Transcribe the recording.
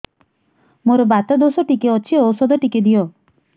ମୋର୍ ବାତ ଦୋଷ ଟିକେ ଅଛି ଔଷଧ ଟିକେ ଦିଅ